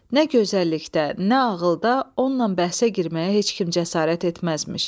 Nə gözəllikdə, nə ağılda onunla bəhsə girməyə heç kim cəsarət etməzmiş.